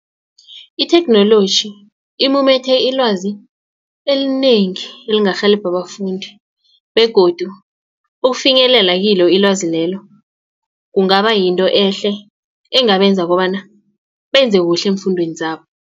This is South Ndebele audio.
Itheknoloji imumethe ilwazi elinengi elingarhelebha abafundi begodu ukufinyelela kilo ilwazi lelo kungaba yinto ehle engabenza kobana benze kuhle eemfundweni zabo.